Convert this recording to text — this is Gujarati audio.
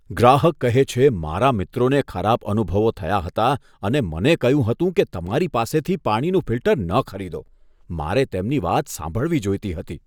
ગ્રાહક કહે છે, મારા મિત્રોને ખરાબ અનુભવો થયા હતા અને મને કહ્યું હતું કે તમારી પાસેથી પાણીનું ફિલ્ટર ન ખરીદો, મારે તેમની વાત સાંભળવી જોઈતી હતી.